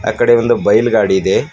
ಆ ಕಡೆ ಒಂದು ಬೈಲ್ ಗಾಡಿ ಇದೆ.